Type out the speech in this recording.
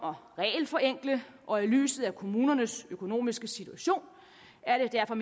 at regelforenkle og i lyset af kommunernes økonomiske situation er det derfor